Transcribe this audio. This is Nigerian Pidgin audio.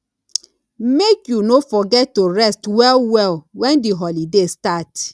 make you no forget to rest wellwell wen di holiday start